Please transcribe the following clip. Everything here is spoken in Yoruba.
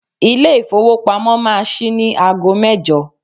Ilé ìfowópamọ́ máa ṣí ní ago mẹ́jọ.